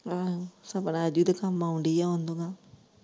ਅਹ ਸਪਨਾ ਅਜੂ ਦੇ ਕੰਮ ਆਉਣ ਡੀ ਆ ਓਨੂੰ ਮੈਂ।